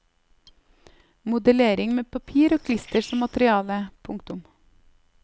Modellering med papir og klister som materiale. punktum